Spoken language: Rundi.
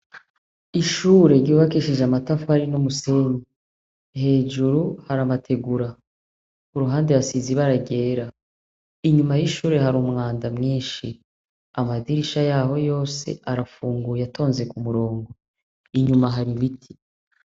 Ishure ryubakishije amatafari n' umusenyi hejuru hari amategura kuruhande hasize ibara ryera inyuma y' ishure hari umwanda mwinshi amadirisha yaho yose arafunguye atonze kumurongo inyuma hari ibiti.